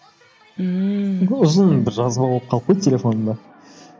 ммм ұзын бір жазып алып қалып қойды телефонымда